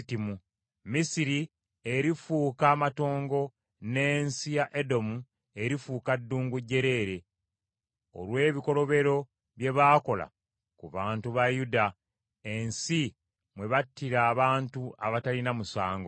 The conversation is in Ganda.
Misiri erifuuka amatongo n’ensi ya Edomu erifuuka ddungu jjereere olw’ebikolobero bye baakola ku bantu ba Yuda, ensi mwe battira abantu abatalina musango.